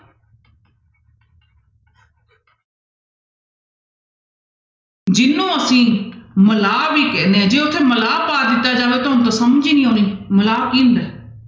ਜਿਹਨੂੰ ਅਸੀਂ ਮਲਾਹ ਵੀ ਕਹਿੰਦੇ ਹਾਂ ਜੇ ਉੱਥੇ ਮਲਾਹ ਪਾ ਦਿੱਤਾ ਜਾਵੇ ਤੁਹਾਨੂੰ ਤਾਂ ਸਮਝ ਹੀ ਨੀ ਆਉਣੀ ਮਲਾਹ ਕੀ ਹੁੰਦਾ ਹੈ।